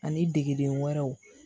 Ani degelen wɛrɛw